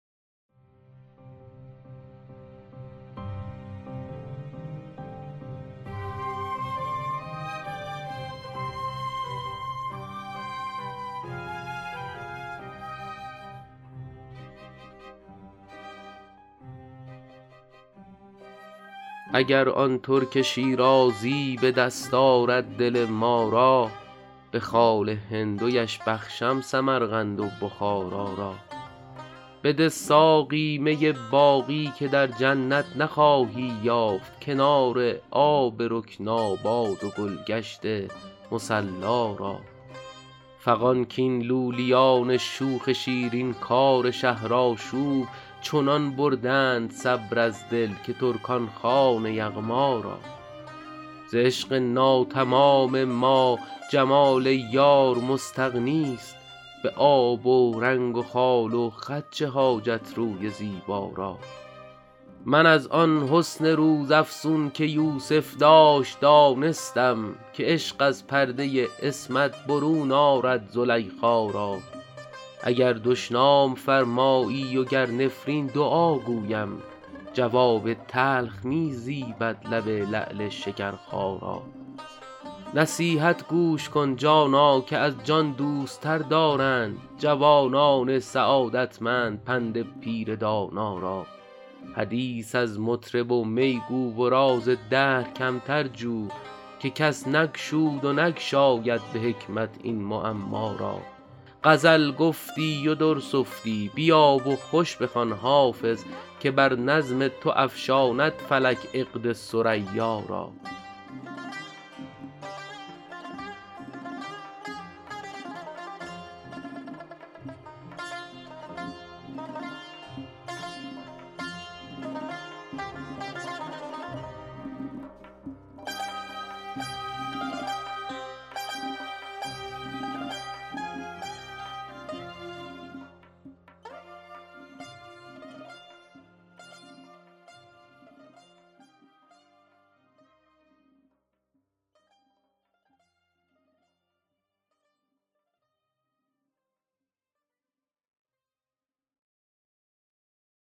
اگر آن ترک شیرازی به دست آرد دل ما را به خال هندویش بخشم سمرقند و بخارا را بده ساقی می باقی که در جنت نخواهی یافت کنار آب رکناباد و گل گشت مصلا را فغان کاین لولیان شوخ شیرین کار شهرآشوب چنان بردند صبر از دل که ترکان خوان یغما را ز عشق ناتمام ما جمال یار مستغنی است به آب و رنگ و خال و خط چه حاجت روی زیبا را من از آن حسن روزافزون که یوسف داشت دانستم که عشق از پرده عصمت برون آرد زلیخا را اگر دشنام فرمایی و گر نفرین دعا گویم جواب تلخ می زیبد لب لعل شکرخا را نصیحت گوش کن جانا که از جان دوست تر دارند جوانان سعادتمند پند پیر دانا را حدیث از مطرب و می گو و راز دهر کمتر جو که کس نگشود و نگشاید به حکمت این معما را غزل گفتی و در سفتی بیا و خوش بخوان حافظ که بر نظم تو افشاند فلک عقد ثریا را